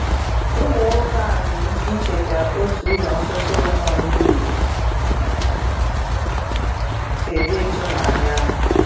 Ụmụ nwoke a nwere ike icheta otú ụlọ nsọ Solomon wuru si dị ịtụnanya.